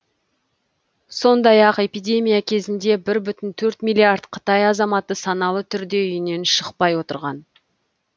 сондай ақ эпидемия кезінде бір бүтін оннан төрт миллиард қытай азаматы саналы түрде үйінен шықпай отырған